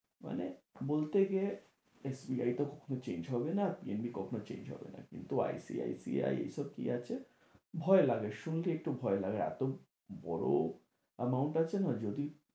মানে বলতে গিয়ে SBI তো কখনো change হবে না, এমনি কখনো change হবে না কিন্তু ICICI এইসব কি আছে, ভয় লাগে শুরুতে একটু ভয় লাগে এতো বড় amount আছে না যদি